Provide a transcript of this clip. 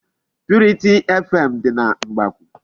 Purity FM dị na Mgbakwụ.